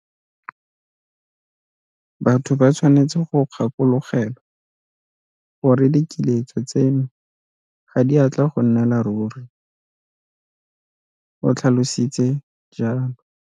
Batho ba tshwanetse go gakologelwa gore dikiletso tseno ga di a tla go nnela ruri, o tlhalositse jalo.